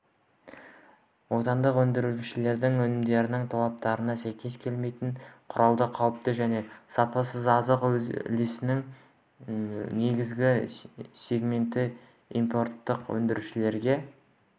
отандық өндірушілердің өнімдерінің талаптарға сәйкес келмейтіні құрады қауіпті және сапасыз азық үлесінің негізгі сегменті импорттық өндірушілерге